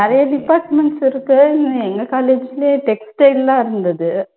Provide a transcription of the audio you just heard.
நிறைய departments இருக்கு எங்க college லயே textile எல்லாம் இருந்துது